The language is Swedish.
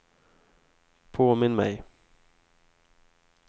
påminn mig